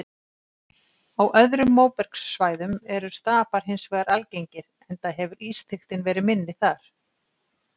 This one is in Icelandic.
Á öðrum móbergssvæðum eru stapar hins vegar algengir enda hefur ísþykktin verið minni þar.